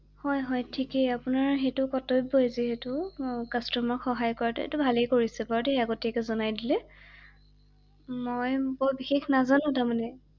হয় হয় ঠিকেই আপোনাৰ সেইটো কৰ্তব্য যে সেইটো কাষ্টমাৰক সহায় কৰাটো৷এইটো ভালে কৰিছে বাৰু দেই আগতীয়াকৈ জনাই দিলে ৷ মই বৰ বিশেষ নাজানো তাৰমানে ৷